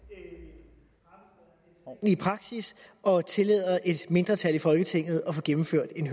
at i praksis og tillade et mindretal i folketinget at få gennemført en